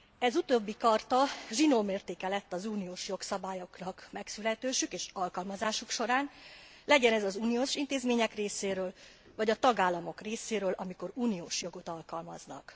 Ez utóbbi charta zsinórmértéke lett az uniós jogszabályoknak megszületésük és alkalmazásuk során, legyen ez az uniós intézmények részéről vagy a tagállamok részéről, amikor uniós jogot alkalmaznak.